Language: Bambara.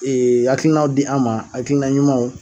Ee hakilinaw di a man, hakilina ɲumanw.